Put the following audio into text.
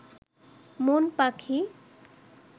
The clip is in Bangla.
মন পাখি